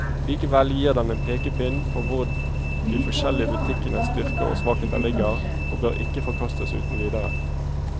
Likevel gir den en pekepinn på hvor de forskjellige butikkenes styrker og svakheter ligger, og bør ikke forkastes uten videre.